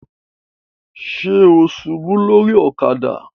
Ṣe o ṣubu lori ọ̀kadà?